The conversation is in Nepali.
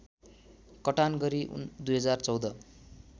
कटान गरी २०१४